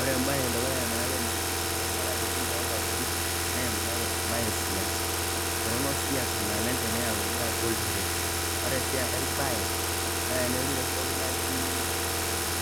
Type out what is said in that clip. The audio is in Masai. Ore embaye e dukuya nayau nyamalaritin too nkajijik naa embaye e siasa, torono siasa naleng' teneyauni atua oltiren. Ore sii enkae baye naa tenolotu enoshi toki naji